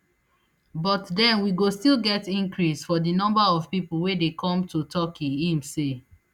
but den we go still get increase for di number of pipo wey dey come to turkey im say